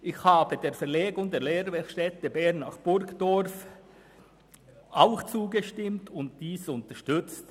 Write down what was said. Ich habe der Verlegung der Technischen Fachschule Bern (TF) nach Burgdorf auch zugestimmt und diese unterstützt.